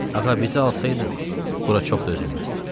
Ağa, bizə alsaydın bura çox dözülməzdi.